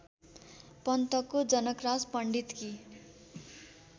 पन्तको Janakraj पण्डितकी